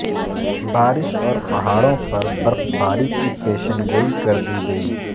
بارش اور پہاڑوں پر برفباری کی پیشنگوئی کر دی گئی